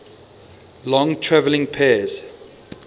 long traveling pairs